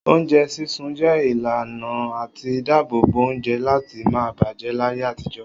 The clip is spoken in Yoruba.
Oúnjẹ sísun jẹ́ ìlànà àti dáàbò bo oúnjẹ láti má bàjẹ́ láyé àtijọ́.